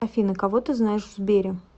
афина кого ты знаешь в сбере